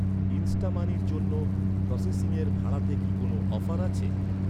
ইন্সটামানির জন্য প্রসেসিংয়ের ভাড়াতে কি কোনও অফার আছে?